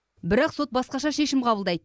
бірақ сот басқаша шешім қабылдайды